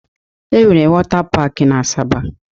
E nwere wota pak n'Asaba